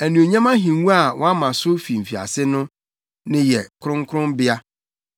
Anuonyam ahengua a wɔama so fi mfiase no, ne yɛn kronkronbea.